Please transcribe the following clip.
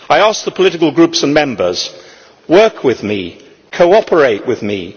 I ask the political groups and Members to work with me and cooperate with me.